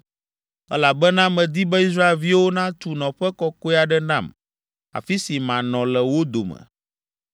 elabena medi be Israelviwo natu nɔƒe kɔkɔe aɖe nam, afi si manɔ le wo dome.